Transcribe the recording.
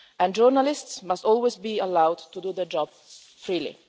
Journalists must always be allowed to do their job freely.